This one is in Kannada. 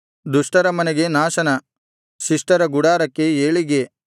ದುಷ್ಟರ ಮನೆಗೆ ನಾಶನ ಶಿಷ್ಟರ ಗುಡಾರಕ್ಕೆ ಏಳಿಗೆ